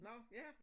Nå ja